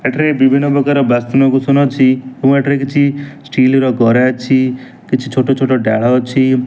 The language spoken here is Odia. ଏଠାରେ ବିଭିନ୍ନ ପ୍ରକାର ବାସନ-କୁସନ ଅଛି ଓ ଏଠାରେ କିଛି ଷ୍ଟିଲ ର ଗରା ଅଛି। କିଛି ଛୋଟ ଛୋଟ ଡାଳ ଅଛି।